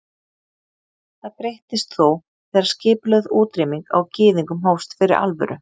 Það breyttist þó þegar skipulögð útrýming á gyðingum hófst fyrir alvöru.